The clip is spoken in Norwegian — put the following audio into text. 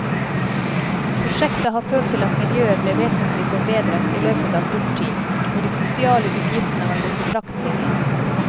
Prosjektet har ført til at miljøet ble vesentlig forbedret i løpet av kort tid, og de sosiale utgiftene har gått betraktelig ned.